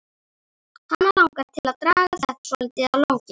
Hana langar til að draga þetta svolítið á langinn.